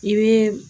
I bɛ